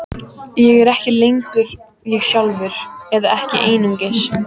Ég er ekki lengur ég sjálfur, eða ekki einungis.